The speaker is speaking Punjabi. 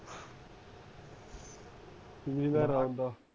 ਠੀਕ ਹੈ